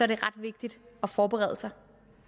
det ret vigtigt at forberede sig